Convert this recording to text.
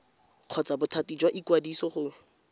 kgotsa bothati jwa ikwadiso go